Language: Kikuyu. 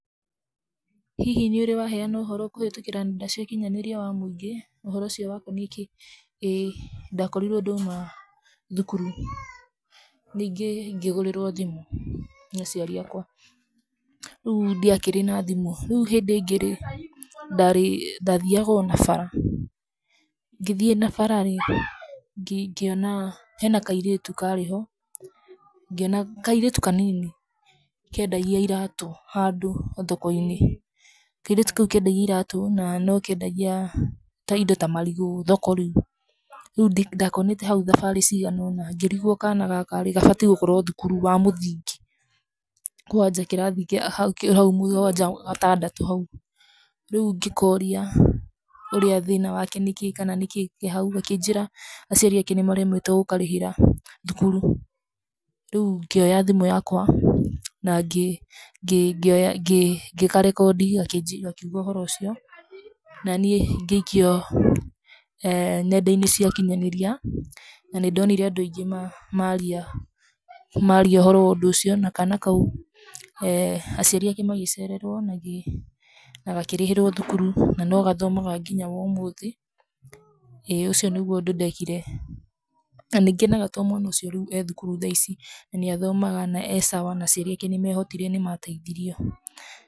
Hihi nĩũrĩ waheana ũhoro kũhĩtũkĩra nenda cia ũkinyanĩria wa mũingĩ? ũhoro ũcio wakoniĩ kĩĩ? ĩĩ ndakorirwo ndauma thukuru, ningĩ ngĩgũrĩrwo thimũ, nĩ aciari akwa, rĩu ndiakĩrĩ na thimũ, rĩu hĩndĩ ĩngĩ rĩ, ndarĩ, ndathiaga ona bara, ngĩhiĩ na bara rĩ, ngĩ ngĩona, hena kairĩtu karĩ ho, ngĩona, kairĩtu kanini, kendagia iratũ, handũ thoko-inĩ, kairĩtu kau kendagia iratũ na nokendagia, ta indo ta marigũ thoko rĩu, rũ ndakonete hau thabarĩ ciganona, ngírigwo kana gaka rĩ, gabatiĩ gũkorwo thukuru wa mũthingi, kwanja kĩrathi kía hau hau mũgwanja gatandatũ hau, rĩu ngĩkoria ũrĩa thĩna wake nĩkĩ kana nĩkĩ ke hau, gakĩnjĩra aciari ake nĩmaremetwo gũkarĩhĩra, thukuru, rĩu ngĩoya thimũ yakwa, nangĩ, ngĩ ngĩ ngĩ ngĩka record gakĩnjĩ gakiuga ũhoro ũcio, naniĩ ngĩikia eeh nenda-inĩ cia ũkinyanĩria, nanĩndonire andũ aingĩ ma, maria maria ũhoro wa ũndũ ũcio na kana kau eeh aciari ake magĩceererwo magĩ nagakĩrĩhĩrwo thukuru, nanogathomaga nginya womũthĩ, ĩ ũcio nĩguo ũndũ ndekire, nanĩngenaga to mwana ũcio rĩu e thukuru tha ici nanĩathomaga na e sawa na aciari nĩmehotire nĩmateithirio.